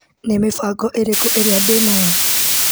Nĩ mĩbango ĩrĩko ĩrĩa ndĩ nayo?